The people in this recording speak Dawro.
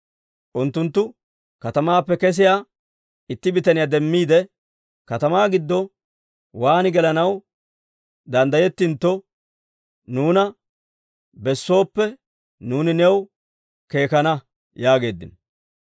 unttunttu katamaappe kesiyaa itti bitaniyaa demmiide, «Katamaa giddo waan gelanaw danddayettintto nuuna bessooppe, nuuni new keekana» yaageeddino.